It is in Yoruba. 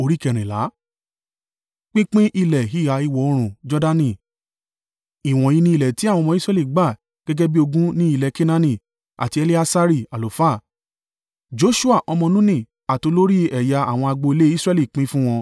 Ìwọ̀nyí ni ilẹ̀ tí àwọn ọmọ Israẹli gbà gẹ́gẹ́ bí ogún ní ilẹ̀ Kenaani, tí Eleasari àlùfáà, Joṣua ọmọ Nuni àti olórí ẹ̀yà àwọn agbo ilé Israẹli pín fún wọn.